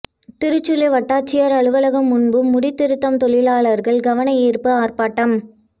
திருச்சுழி வட்டாட்சியர் அலுவலகம் முன்பு முடி திருத்தும் தொழிலாளர்கள் கவன ஈர்ப்பு ஆர்ப்பாட்டம்